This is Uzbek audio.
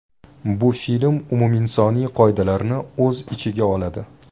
Bu film umuminsoniy qoidalarni o‘z ichiga oladi.